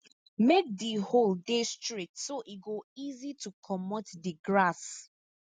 make di hole dey straight so e go easy to comot di grass